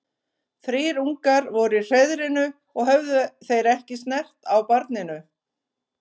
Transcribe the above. Þrír ungar voru í hreiðrinu og höfðu þeir ekki snert á barninu.